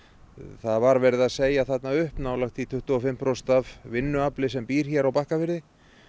það var verið að segja þarna upp nálægt því tuttugu og fimm prósent af vinnuafli sem býr hér á Bakkafirði